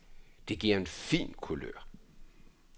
Det giver en fin kulør.